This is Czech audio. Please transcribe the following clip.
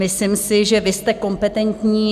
Myslím si, že vy jste kompetentní.